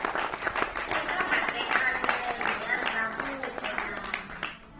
eka matekanelo ya ndzhavuko lama